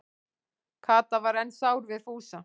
Kata var enn sár við Fúsa.